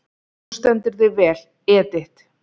Þú stendur þig vel, Edit!